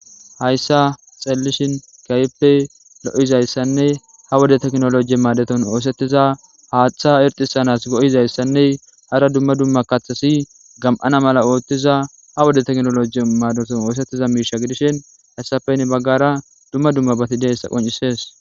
hayssa xallishin kayppe lo7izayssanne ha wode teknolojiye maadaton oosettiza haaththa erxisanas go7izayssanne hara dumma dumma kaththasi gam7ana mala oottiza ha wode teknolojiye maadaton oosettiza miisha gidishin hassapen baggara dumma dumma bati deyssa qoncisees